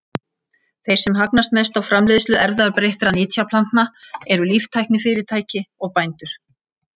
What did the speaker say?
Þeir sem hagnast mest á framleiðslu erfðabreyttra nytjaplantna eru líftæknifyrirtæki og bændur.